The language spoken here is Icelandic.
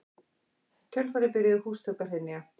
Í kjölfarið byrjuðu húsþök að hrynja